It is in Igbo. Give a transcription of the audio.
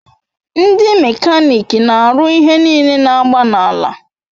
Ndi mekanik n'aru ihe nile n'agba n'ala